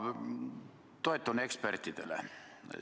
Ma toetun ekspertide arvamusele.